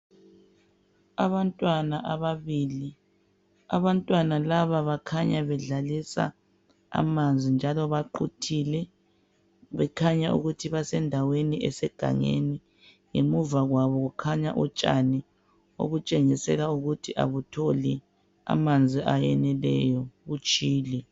Abantwana ababili, abantwana laba bakhanya bedlalisa amanzi njalo baquthile bekhanya ukuthi basendaweni esegangeni. Ngemuva kwabo kukhanya utshani okutshengisela ukuthi akutholi amanzi ayeneleyo kutshile.